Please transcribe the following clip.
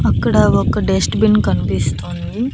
అక్కడ ఒక dustbin కనిపిస్తుంది.